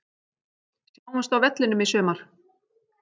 Sjáumst á vellinum í sumar!